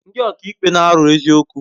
Ndi ọka ikpe n'aro eziokwu